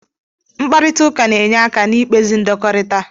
Mkparịta ụka na-enye aka n'ikpezi ndọkọrita.